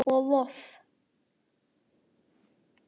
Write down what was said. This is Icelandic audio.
og Voff